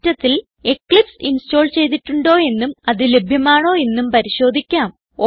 സിസ്റ്റത്തിൽ Eclipse install ചെയ്തിട്ടുണ്ടോ എന്നും അത് ലഭ്യമാണോ എന്നും പരിശോധിക്കാം